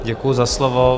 Děkuji za slovo.